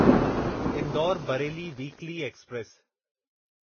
Indore Bareilly weekly express